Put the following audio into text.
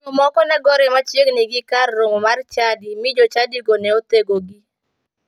Chuo moko ne gore machiegini gi kar romo mar chadi mi jochadigo ne othegogi.